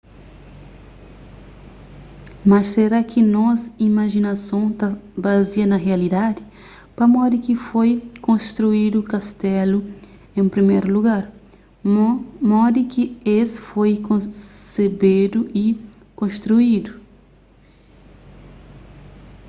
mas será ki nos imajinason ta bazia na rialidadi pamodi ki foi konstruídu kastelu en priméru lugar modi ki es foi konsebedu y konstruídu